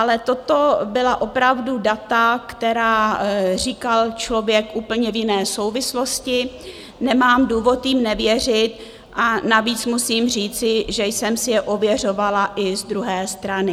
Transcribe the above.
Ale toto byla opravdu data, která říkal člověk v úplně jiné souvislosti, nemám důvod jim nevěřit, a navíc musím říci, že jsem si je ověřovala i z druhé strany.